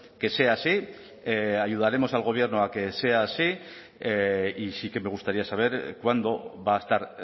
que sea así ayudaremos al gobierno a que sea así y sí que me gustaría saber cuándo va a estar